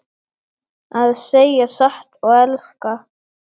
Að segja satt og elska